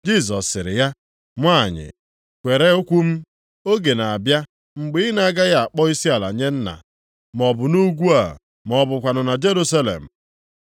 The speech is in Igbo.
Jisọs sịrị ya, “Nwanyị kwere okwu m, oge na-abịa mgbe ị na-agaghị akpọ isiala nye Nna, maọbụ nʼugwu a ma ọ bụkwanụ na Jerusalem.